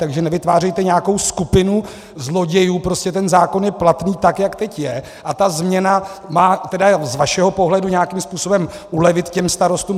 Takže nevytvářejte nějakou skupinu zlodějů, prostě ten zákon je platný tak, jak teď je, a ta změna má, tedy z vašeho pohledu, nějakým způsobem ulevit těm starostům.